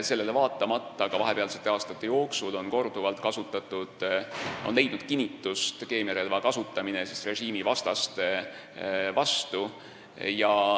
Sellele vaatamata on ka vahepealsete aastate jooksul korduvalt leidnud kinnitust keemiarelva kasutamine režiimivastaste vastu.